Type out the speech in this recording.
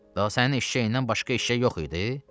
Daha sənin eşşəyindən başqa eşşək yox idi?